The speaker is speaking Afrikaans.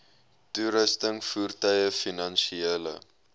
toerusting voertuie finansiële